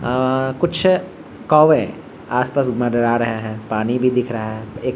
अ कुछ कौवे आस-पास मंडरा रहे है पानी भी दिख रहा है एक --